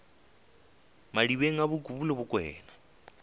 madibeng a bokubu le bokwena